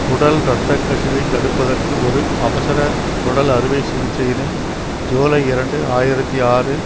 குடல் இரத்தக்கசிவை தடுப்பதற்கு ஒரு அவசர குடல் அறுவை சிகிச்சையினை ஜூலை இரண்டு ஆயிரத்தி ஆறு